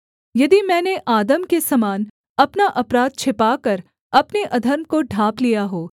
यदि मैंने आदम के समान अपना अपराध छिपाकर अपने अधर्म को ढाँप लिया हो